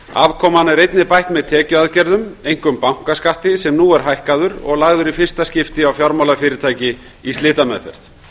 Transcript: afkoman er einnig bætt með tekjuaðgerðum einkum bankaskatti sem nú er hækkaður og lagður í fyrsta skipti á fjármálafyrirtæki í slitameðferð